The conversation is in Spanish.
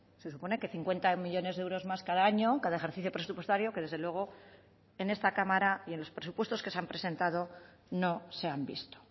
se supone que cincuenta millónes de euros más cada año cada ejercicio presupuestario que desde luego en esta cámara y en los presupuestos que se han presentado no se han visto